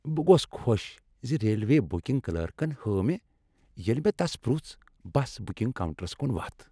بہٕ گوس خۄش زِ ریلوے بُكِنگ كلركن ہٲو مےٚ، ییلہِ مےٚ تَس پُرژھ ، بَس بُكِنگ كاونٹرس كُن وتھ ۔